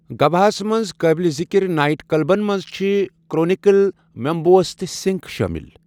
گَواہس منٛز قٲبلہِ ذِکِر نایِٹ کٕلبَن منٛز چھِ کرٛونِکل، میمبوس تہٕ سِنٛک شٲمِل۔